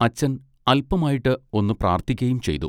അച്ചൻ അല്പമായിട്ട് ഒന്നു പ്രാർത്ഥിക്കയും ചെയ്തു.